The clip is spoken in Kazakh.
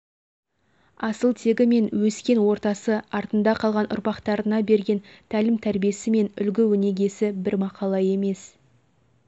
асыл тегі мен өскен ортасы артында қалған ұрпақтарына берген тәлім-тәрбиесі мен үлгі-өнегесі бір мақала емес